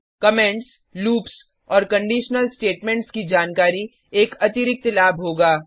comments loops और conditional statements की जानकारी एक अतिरिक्त लाभ होगा